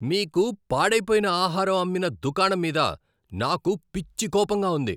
మీకు పాడైపోయిన ఆహారం అమ్మిన దుకాణం మీద నాకు పిచ్చి కోపంగా ఉంది.